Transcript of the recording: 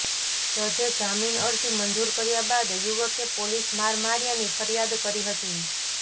જજે જામીન અરજી મંજૂર કર્યા બાદ યુવકે પોલીસ માર માર્યાની ફરિયાદ કરી હતી